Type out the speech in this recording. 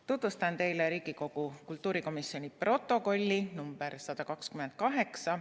Tutvustan teile Riigikogu kultuurikomisjoni protokolli nr 128.